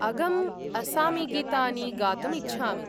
अगं असामीगीतानि गातुम् इच्छामि।